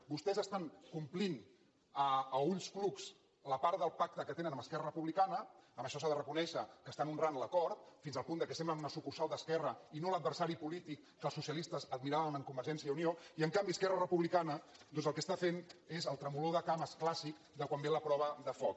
vostès estan complint a ulls clucs la part del pacte que tenen amb esquerra republicana en això s’ha de reconèixer que estan honrant l’acord fins al punt que semblen una sucursal d’esquerra i no l’adversari polític que els socialistes admiràvem en convergència i unió i en canvi esquerra republicana doncs el que està fent és el tremolor de cames clàssic de quan ve la prova de foc